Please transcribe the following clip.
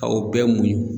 Aw bɛɛ muɲun